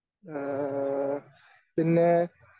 ഏഹ് പിന്നെ